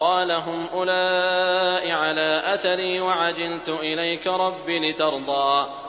قَالَ هُمْ أُولَاءِ عَلَىٰ أَثَرِي وَعَجِلْتُ إِلَيْكَ رَبِّ لِتَرْضَىٰ